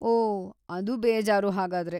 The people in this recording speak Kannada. ಓಹ್, ಅದು ಬೇಜಾರು ಹಾಗಾದ್ರೆ.